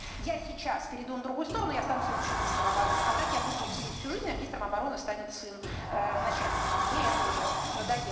я сейчас перейду на другую сторону я стану следующим министром обороны а так я буду сидеть всю жизнь а министр обороны станет сын начальника а мне это уже надоел